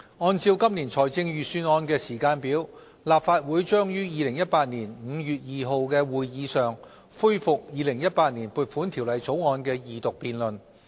按照今年財政預算案的時間表，立法會將於2018年5月2日的會議上恢復《2018年撥款條例草案》的二讀辯論。